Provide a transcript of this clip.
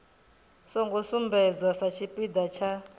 songo sumbedzwa sa tshipiḓa tsha